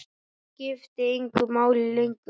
Það skipti engu máli lengur.